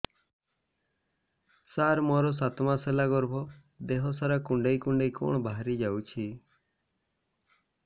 ସାର ମୋର ସାତ ମାସ ହେଲା ଗର୍ଭ ଦେହ ସାରା କୁଂଡେଇ କୁଂଡେଇ କଣ ବାହାରି ଯାଉଛି